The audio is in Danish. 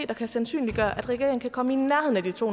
der kan sandsynliggøre at regeringen kan komme i nærheden af de to